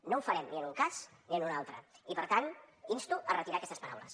no ho farem ni en un cas ni en un altre i per tant insto a retirar aquestes paraules